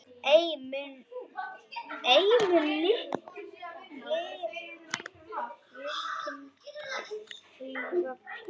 Ei mun linkind klífa fjöll.